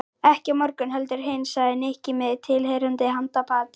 Ekki á morgun heldur hinn sagði Nikki með tilheyrandi handapati.